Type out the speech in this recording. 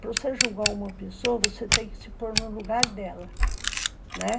Para você julgar uma pessoa, você tem que se pôr no lugar dela, né.